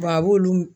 a b'olu